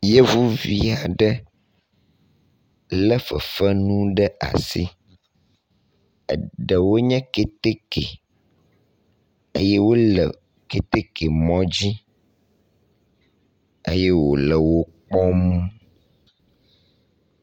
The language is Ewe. Yevuvi aɖe le fefenu ɖe asi. Eɖewo nye keteke eye wo le keteke mɔ dzi eye wo le wo kpɔm.